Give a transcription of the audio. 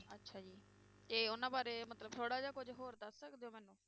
ਤੇ ਉਹਨਾਂ ਬਾਰੇ ਮਤਲਬ ਥੋੜ੍ਹਾ ਜਿਹਾ ਕੁੱਝ ਹੋਰ ਦੱਸ ਸਕਦੇ ਹੋ ਮੈਨੂੰ?